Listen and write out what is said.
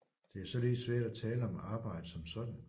Det er således svært at tale om arbejde som sådan